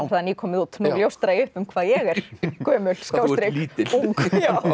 það nýkomið út nú ljóstra ég upp um hvað ég er gömul ung